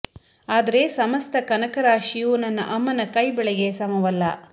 ಆದರೆ ಸಮಸ್ತ ಕನಕ ರಾಶಿಯೂ ನನ್ನ ಅಮ್ಮನ ಕೈ ಬಳೆಗೆ ಸಮವಲ್ಲ